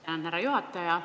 Tänan, härra juhataja!